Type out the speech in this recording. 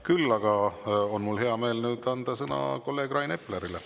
Küll aga on mul hea meel anda nüüd sõna kolleeg Rain Eplerile.